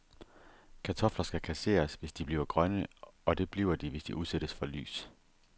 Kartofler skal kasseres, hvis de bliver grønne, og det bliver de, hvis de udsættes for lys.